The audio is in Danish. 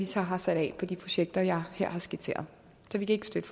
så har sat af på de projekter jeg her har skitseret så vi kan ikke støtte